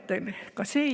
Tänane istung on lõppenud.